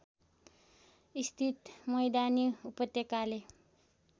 स्थित मैदानी उपत्यकाले